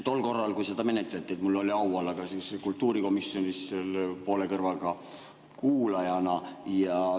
Tol korral, kui seda menetleti, oli mul au olla kultuurikomisjonis poole kõrvaga kuulamas.